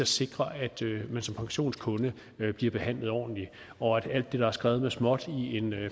sikre at man som pensionskunde bliver behandlet ordentligt og at alt det der er skrevet med småt i en